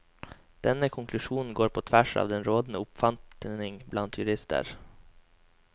Denne konklusjonen går på tvers av den rådende oppfatning blant jurister.